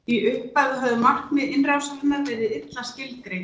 í upphafi höfðu markmið innrásarinnar verið illa skilgreind